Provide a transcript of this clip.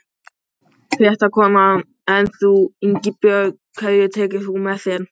Fréttakona: En þú Ingibjörg, hverja tekur þú með þér?